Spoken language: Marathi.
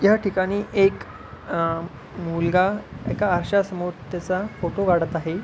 या ठिकाणी एक अ मुलगा एका आरशा समोर त्याचा फोटो काढत आहे.